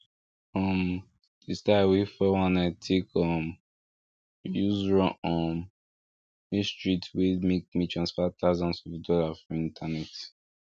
um di style wey fouir one nine take um use run um me street wey make me transfer thousands of dollars for internet